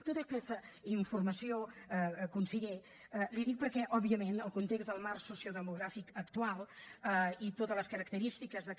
tota aquesta informació conseller l’hi dic perquè òbviament el context del marc sociodemogràfic actual i totes les característiques que